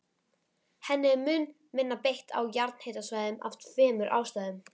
Henni er mun minna beitt á jarðhitasvæðum af tveimur ástæðum.